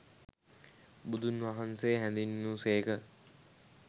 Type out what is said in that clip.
බුදුන්වහන්සේ හැඳින්වූ සේක.